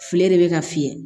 Filen de bɛ ka fiyɛ